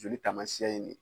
Joli taamasiyɛn ye nin ye